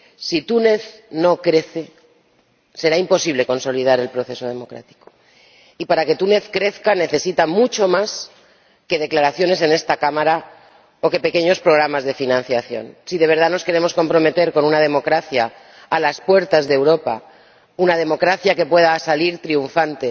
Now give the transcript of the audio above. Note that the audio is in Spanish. Si Túnez no crece, será imposible consolidar el proceso democrático, y para que Túnez crezca necesita mucho más que declaraciones en esta Cámara o que pequeños programas de financiación. Si de verdad nos queremos comprometer con una democracia a las puertas de Europa, una democracia que pueda salir triunfante